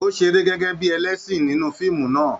O seré gẹgẹ bíi ẹlẹsin nínú fíìmù náà.